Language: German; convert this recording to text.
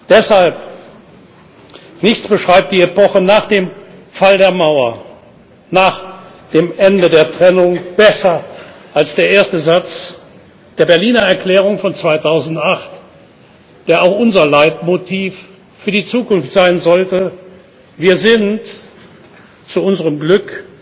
Deshalb Nichts beschreibt die Epoche nach dem Fall der Mauer, nach dem Ende der Trennung besser als erste Satz der Berliner Erklärung von 2008, der auch unser Leitmotiv für die Zukunft sein sollte Wir sind zu unserem